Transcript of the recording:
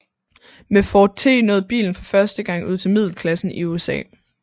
Med Ford T nåede bilen for første gang ud til middelklassen i USA